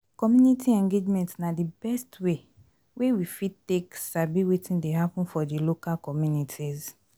Community engagement na di best way wey we fit take sabi wetin dey happen for di local communities